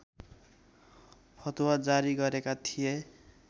फतवा जारी गरेका थिए